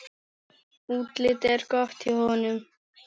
Útlitið er gott hjá honum.